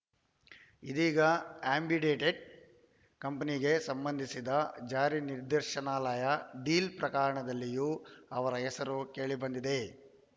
ಇದೀಗ ಆ್ಯಂಬಿಡೇಟ್‌ ಕಂಪನಿಗೆ ಸಂಬಂಧಿಸಿದ ಜಾರಿ ನಿರ್ದೇಶನಾಲಯ ಡೀಲ ಪ್ರಕರಣದಲ್ಲಿಯೂ ಅವರ ಹೆಸರು ಕೇಳಿಬಂದಿದೆ